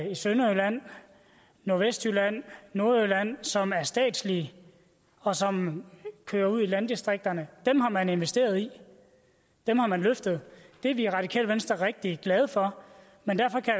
i sønderjylland nordvestjylland og nordjylland som er statslige og som kører ud i landdistrikterne dem har man investeret i dem har man løftet det er vi i radikale venstre rigtig glade for men derfor kan